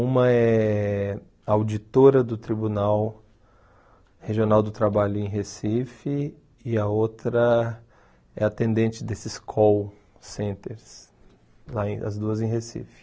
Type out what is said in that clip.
Uma é auditora do Tribunal Regional do Trabalho em Recife e a outra é atendente desses call centers, aí as duas em Recife.